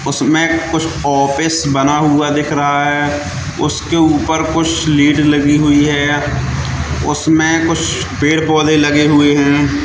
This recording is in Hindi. उसमें कुछ ऑफिस बना हुआ दिख रहा है उसके ऊपर कुछ लीड लगी हुई है उसमें कुछ पेड़ पौधे लगे हुए हैं।